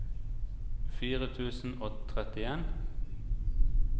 fire tusen og trettien